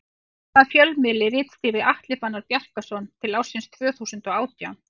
Hvaða fjölmiðli ritstýrði Atli Fannar Bjarkason til ársins tvö þúsund og átján?